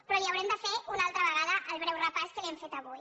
però li haurem de fer una altra vegada el breu repàs que li hem fet avui